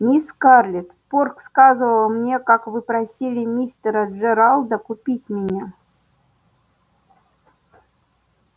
мисс скарлетт порк сказывал мне как вы просили мистера джералда купить меня